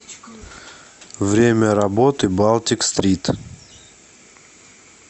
время работы балтик стрит